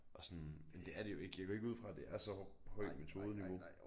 Og sådan men det er det jo ikke jeg går ikke ud fra det er så høj metodeniveau